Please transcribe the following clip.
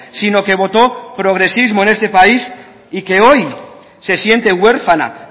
sino que votó progresismo en este país y que hoy se siente huérfana